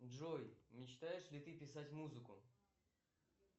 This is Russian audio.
джой мечтаешь ли ты писать музыку